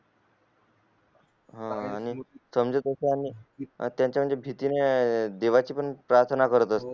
हम्म देवाची पूर्ण प्रार्थना करत असते